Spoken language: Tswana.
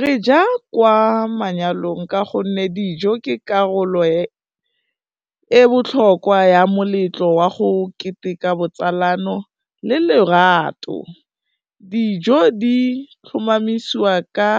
Re ja kwa manyalong ka gonne dijo ke karolo e botlhokwa ya moletlo wa go keteka botsalano le lerato, dijo di tlhomamisiwa ka